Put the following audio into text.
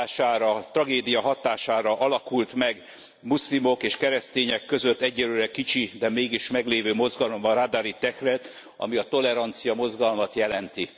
a hatására, a tragédia hatására alakult meg muszlimok és keresztények között egyelőre kicsi, de mégis meglévő mozgalom, a Ruardari tehrík, ami toleranciamozgalmat jelent.